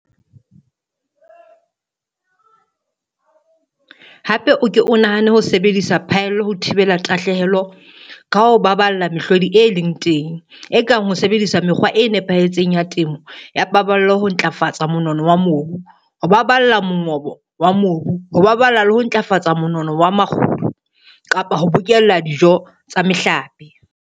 Hape o ke o nahane ho sebedisa phaello ho thibela tahlehelo ka ho baballa mehlodi e leng teng, e kang ho sebedisa mekgwa e nepahetseng ya temo ya paballo ho ntlafatsa monono wa mobu, ho baballa mongobo wa mobu, ho baballa le ho ntlafatsa monono wa makgulo kapa ho bokella dijo tsa mehlape.